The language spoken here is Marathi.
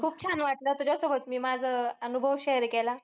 खूप छान वाटलं. तुझ्यासोबत मी माझं अह अनुभव share केला.